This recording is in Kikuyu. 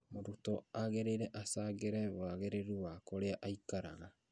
Mũrutwo agĩrĩire achangĩre wagĩrĩru wa kũrĩa aikaraga